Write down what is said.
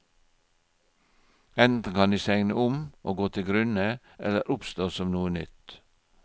Enten kan de segne om og gå til grunne eller oppstå som noe nytt.